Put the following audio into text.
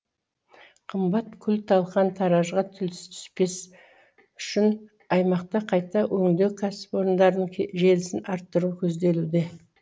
қымбат күл талан таражға түспес үшін аймақта қайта өңдеу кәсіпорындарының желісін арттыру көзделуде